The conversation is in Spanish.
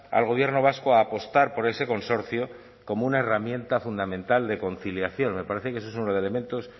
al gobierno vasco a apostar por ese consorcio como una herramienta fundamental de conciliación me parece que esos son elementos